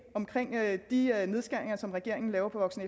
om de nedskæringer som regeringen laver på voksen